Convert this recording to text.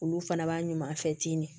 Olu fana b'a ɲuman fɛ ten